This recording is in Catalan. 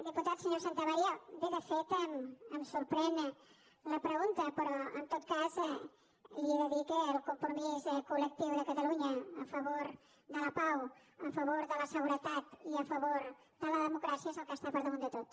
diputat senyor santamaría bé de fet em sorprèn la pregunta però en tot cas li he de dir que el compromís col·lectiu de catalunya a favor de la pau a favor de la seguretat i a favor de la democràcia és el que està per damunt de tot